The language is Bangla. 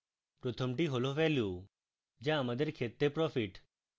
প্রথমটি হল ভ্যালু যা আমাদের ক্ষেত্রে profit